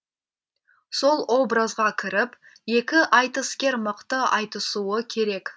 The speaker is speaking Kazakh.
сол образға кіріп екі айтыскер мықты айтысуы керек